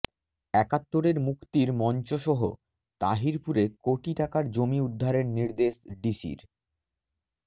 একাত্তরের মুক্তির মঞ্চসহ তাহিরপুরে কোটি টাকার জমি উদ্ধারের নির্দেশ ডিসির